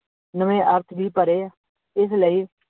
ਨਵੇ ਅਰਥ ਵੀ ਭਰੇ, ਇਸ ਲਈ